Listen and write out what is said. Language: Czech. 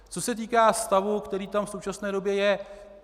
Co se týká stavu, který tam v současné době je.